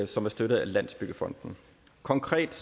som er støttet af landsbyggefonden konkret